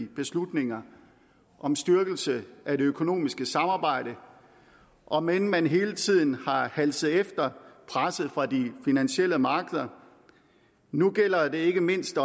beslutninger om styrkelse af det økonomiske samarbejde om end man hele tiden har halset efter presset fra de finansielle markeder nu gælder det ikke mindst